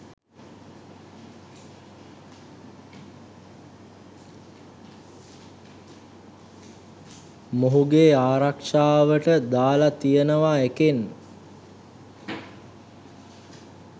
මොහුගේ ආරක්ෂාවට දාලා තියෙනවා එකෙන්